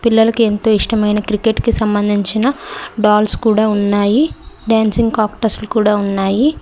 పిల్లలకి ఎంతో ఇష్టమైన క్రికెట్ కి సంబంధించిన డాల్స్ కూడా ఉన్నాయి డాన్సింగ్ కాక్టస్ లు కూడా ఉన్నాయి.